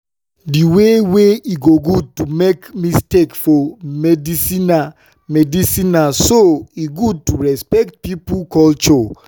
the way wey e no good to make mistake for medicinena medicinena so e good to respect pipo culture.